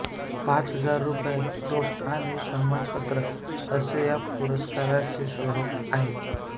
पाच हजार रुपये रोख आणि सन्मानपत्र असे या पुरस्काराचे स्वरूप आहे